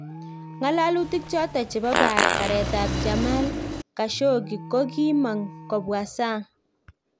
Ngalalutkik choton chebo barret ab Jmal Khashoggi ko kokimang kobwa sang